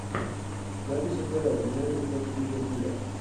запись апл юнайтед против ливерпуля